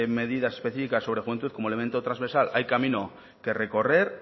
medidas específicas sobre juventud como elemento transversal hay camino que recorrer